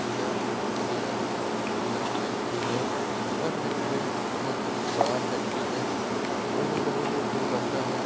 यह एक किसी का फेक्टरी है यह फेक्टरी बहुत बड़ा फेक्टरी हैं और यहाँ बहुत चीजे बनाता है।